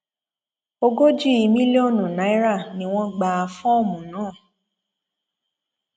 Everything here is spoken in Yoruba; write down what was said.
ogójì mílíọnù náírà ni wọn gba fọọmù náà